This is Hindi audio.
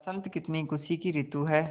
बसंत कितनी खुशी की रितु है